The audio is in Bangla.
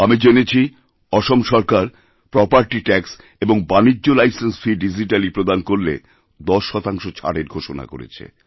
আমি জেনেছি আসাম সরকার প্রপার্টি ট্যাক্স এবং বাণিজ্য লাইসেন্স ফিডিজিট্যালি প্রদান করলে ১০ শতাংশ ছাড়ের ঘোষণা করেছে